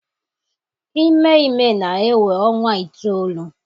Ime ime na-ewe ọnwa itoolu.